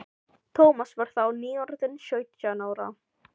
Thomas var þá nýorðinn sautján ára.